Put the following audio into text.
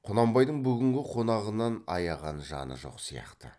құнанбайдың бүгінгі қонағынан аяған жаны жоқ сияқты